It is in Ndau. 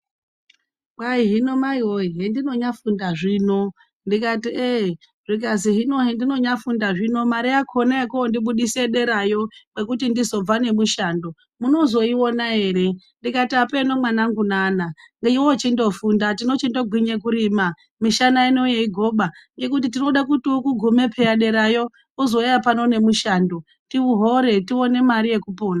Kwahi hino mai woye hedinonyaafunda zvino ndikati eh zvikzi hino hrndinonyaafunda zvino mare yakona yekoondibudisa derayo kwekuti ndizobva nemushando munozoiona ere. Ndikati hapeenoo mwanangu nana iwewe chindofunda, tinochindogwinye kurima, mishana ino yeigoba ngekuti tirikude kuti ukugume peyani derayo, uzouya pano nemushando, tihore, tione mare yekupona.